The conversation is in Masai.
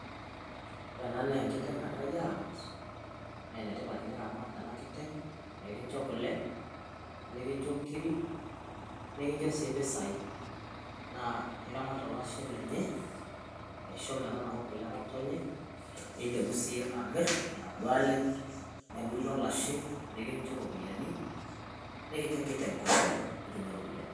ore ena naa enkiteng nagirae aaramat naa enetipat teniramat ena kiteng',pee kincho kule, nikincho nkiri, nikincho sii mpisai, naa iramat olashe lenye. aisho metanaku kule engotonye, nilepu siiyie amir inaduo le nebuluu olashe nikincho ropiyiani. netum enkiteng kule nikincho ropiyiani.